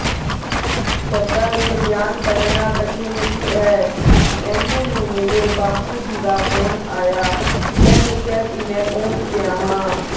ਸ਼ਬਦਾਂ ਦੇ ਵਿਚ ਬਿਆਨ ਕਰਨਾ ਕਠਿਨ ਹੈ ਏਨੇ ਨੂੰ ਮੇਰੇ ਬਾਪੂ ਜੀ ਦਾ ਫੋਨ ਆਇਆ ਮੈਂ ਦੱਸਿਆ ਕਿ ਮੈਂ ਪਹੁੰਚ ਗਿਆ ਹਾਂ